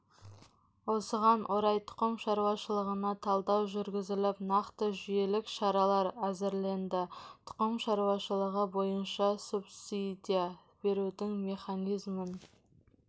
осыған орай тұқым шаруашылығына талдау жүргізіліп нақты жүйелік шаралар әзірленді тұқым шаруашылығы бойынша субсидия берудің механизмін